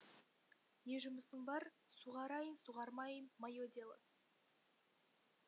не жұмысың бар суғарайын суғармайын мое дело